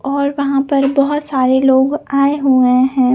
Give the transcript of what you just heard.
और वहा पर बहोत सारे लोग आए हुए है।